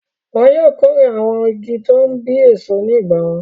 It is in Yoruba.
Wọn yóò kórè àwọn igi tó ń bí èso ní ìgbà wọn.